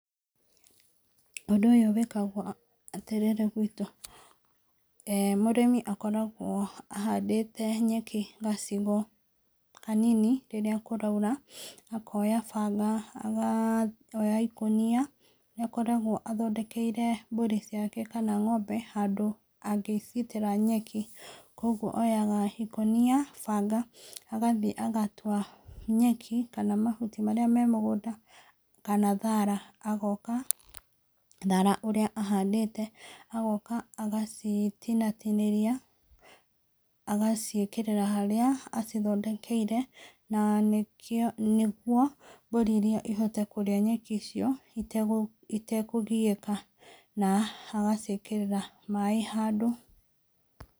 Ũndũ ũyũ wĩkagwo atĩrĩrĩ gwitũ, eeh mũrĩmi akoragwo ahandĩte nyeki gacigo kaninirĩrĩa kũraura, akoya banga akoya ikũnia, nĩ akoragwo athondekeire mburi ciake kana ngombe handũ angĩciitĩra nyeki, kogwo oyaga ikũnia, banga agathiĩ agatua nyeki kana mahuti marĩa me mũgũnda kana thara, agoka, thara ũrĩa ahandĩte, agoka agacitinatinĩria, agaciĩkĩrĩra harĩa acithondekeire, na nĩkĩo na nĩguo mbũri irĩa ihote kũrĩa nyeki cio, itekũgiĩka na agaciĩkĩrĩra maaĩ handũ.